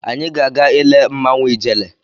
Anyị ga-aga ile mmanwụ Ijele.